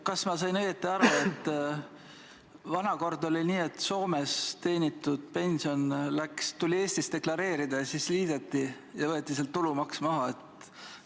Kas ma sain õigesti aru, et vana kord oli nii, et Soomes teenitud pension tuli Eestis deklareerida ja siis liideti ja võeti sealt tulumaks maha?